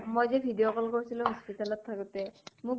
মই যে, video call কৰিছিলো hospital ত থাকোতে, মোক